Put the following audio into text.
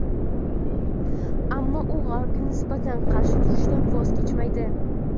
ammo u G‘arbga nisbatan qarshi turishdan voz kechmaydi.